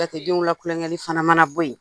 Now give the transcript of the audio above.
Jatedenw la kulonkɛli fana mana bɔ yen